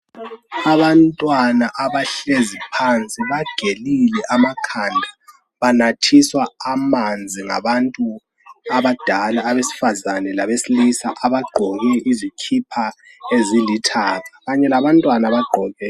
Abantwana abahlezi phansi bagelile amakhanda. Banathiswa amanzi ngabantu abadala abesifazane labesilisa abagqoke izikipa ezilithanga , kanye labantwana abagqoke.